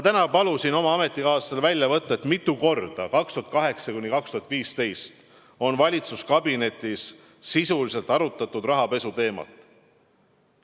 Ma palusin täna oma ametikaaslastele väljavõtet, mitu korda on aastail 2008–2015 valitsuskabinetis sisuliselt arutatud rahapesu teemat.